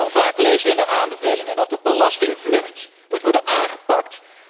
Hoe vaak lezen wij in de aanbevelingen dat de belastingvlucht moet worden aangepakt?